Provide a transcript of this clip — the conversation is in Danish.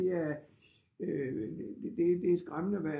Det er det er skræmmende hvad